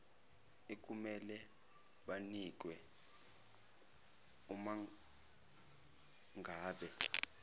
ekumele banikwe umangabe